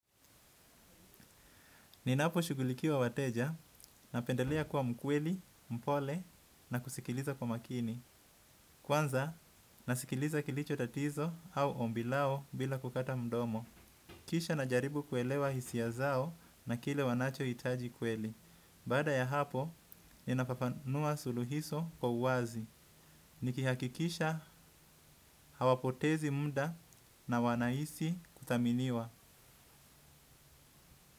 Ninaposhugulikia wateja, napendelea kuwa mkweli, mpole na kusikiliza kwa makini. Kwanza, nasikiliza kilicho tatizo au ombilao bila kukata mdomo. Kisha najaribu kuelewa hisia zao, na kile wanachohitaji kweli. Baada ya hapo, ninafafanua suluhisho kwa uwazi. Nikihakikisha, hawapotezi muda na wanahisi kuthaminiwa.